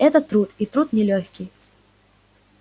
это труд и труд нелёгкий